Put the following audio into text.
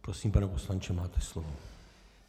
Prosím, pane poslanče, máte slovo.